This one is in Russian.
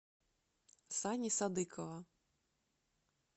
сани садыкова